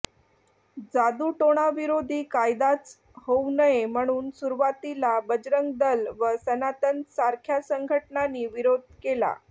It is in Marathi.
जादूटोणाविरोधी कायदाच होऊ नये म्हणून सुरुवातीला बजरंग दल व सनातन सारख्या संघटनांनी विरोध केला